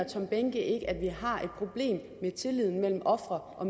tom behnke ikke at vi har et problem med tilliden mellem ofre og